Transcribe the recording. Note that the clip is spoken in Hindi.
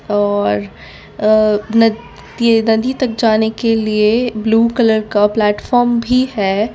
और अह न ये नदी तक जाने के लिए ब्लू कलर का प्लेटफार्म भी है।